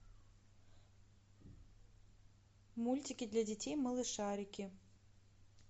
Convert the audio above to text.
мультики для детей малышарики